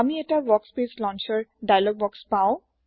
আমি এটা workspace launcher dialog box পাও